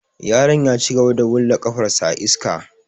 Yaron ya cigaba da wulla ƙafar sa a iska.